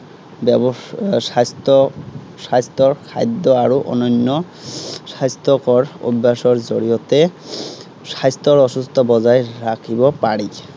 ব্য়ৱস্থা, স্বাস্থ্য়, স্বাস্থ্য়ৰ খাদ্য আৰু অনন্য় স্বাস্থ্য়কৰ অভ্য়াসৰ জৰিয়তে স্বাস্থ্য়ৰ সুস্থতা বজাই ৰাখিব পাৰি।